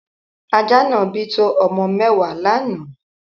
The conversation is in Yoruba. Ajá náà bí to ọmọ mẹ́wàá lánáà.